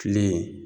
Kile